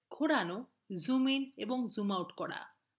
ঘোরানো zoom in এবং zoom out